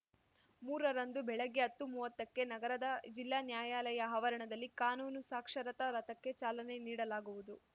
ಮೂರರಂದು ಬೆಳಗ್ಗೆ ಅತ್ತುಮುವ್ವತ್ತಕ್ಕೆ ನಗರದ ಜಿಲ್ಲಾ ನ್ಯಾಯಾಲಯ ಆವರಣದಲ್ಲಿ ಕಾನೂನು ಸಾಕ್ಷರತಾ ರಥಕ್ಕೆ ಚಾಲನೆ ನೀಡಲಾಗುವುದು